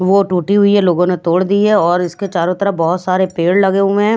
वो टूटी हुई है लोगों ने तोड़ दिये और इसके चारों तरफ बहोत सारे पेड़ लगे हुए हैं।